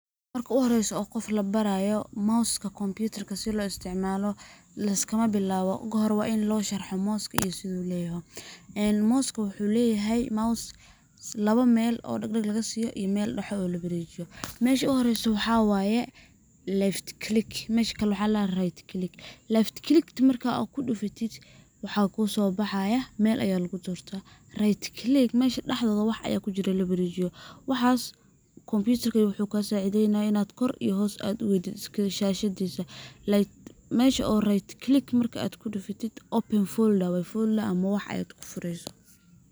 Marka u horreyso oo qof la baraypo mouse ka kombiitar ka sida loo isticmaalo liskama bilaawo ,kahoe waa in loo sharxo mouse ka sidu leeyaho. Mouse ka waxuu leyahay ,mouse lawa meel oo dhagdhag laga siiyo iyo meel dhaxda oo la wareejiyo .Mesha u horreyso waxa waye left click ,mesha kale na right click .Left click markaa ku dhufatid waxa kusoo baxaya meel ayaa lagu dortaa ,right click mesha dhaxda wax ayaa kujiro la wareejiyo ,waxaas kombiyutar ka ayuu kaa sacideynayaa kor iyo hoos inaad u wadid shaahshadiisa, like mesha oo right click marka aad ku dhufatid ,open folder way ,folder ama wax ayaad ku fureyso.